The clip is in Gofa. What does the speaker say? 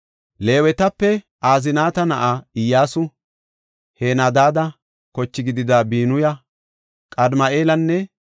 Leewetape, Aznaata na7aa Iyyasu, Henadaada kochi gidida Binuya, Qadimi7eelanne